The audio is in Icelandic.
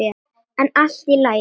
En allt í lagi.